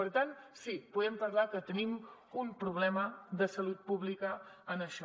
per tant sí podem parlar que tenim un problema de salut pública en això